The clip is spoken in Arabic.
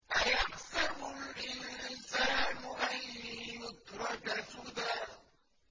أَيَحْسَبُ الْإِنسَانُ أَن يُتْرَكَ سُدًى